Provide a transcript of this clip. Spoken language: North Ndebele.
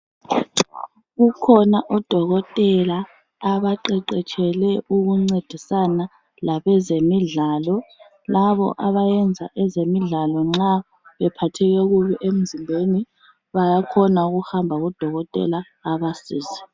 Kukhona odokotela abaqeqetshelwe ukuncedisana labezemidlalo. Labo abayenza ezemidlalo nxa bephatheke kubi emzimbeni baya khona ukuhamba kudokotela abasize.